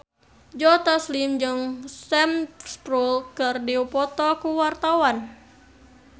Joe Taslim jeung Sam Spruell keur dipoto ku wartawan